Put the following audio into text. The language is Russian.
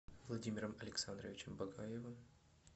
владимиром александровичем багаевым